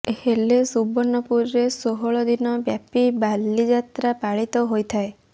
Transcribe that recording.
ହେଲେ ସୁବର୍ଣ୍ଣପୁରରେ ଷୋହଳ ଦିନ ବ୍ୟାପି ବଳିଯାତ୍ରା ପାଳିତ ହୋଇଥାଏ